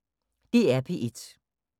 DR P1